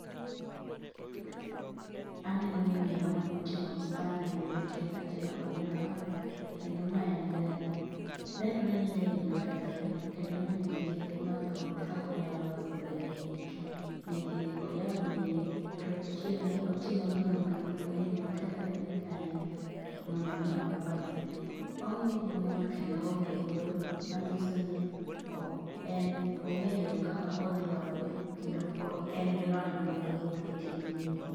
Aneno miyo, moting'o spanner e lwete kaachiel kod nyororo. Kendo ma en gari. Nenore ni gari ni okethore, kendo miyoni nigi rieko mathoth kak onyalo loso gari ni eki nikech oyaw wiye, totimo otimo nondro mondo ong'e ni okethore gi kanye, to mondo mi olose. Ong'iye gi mor kendo oonge luoro manyiso ni en ong'eyo kaka odhilose, kendo o en gi lony mathoth e tijni eki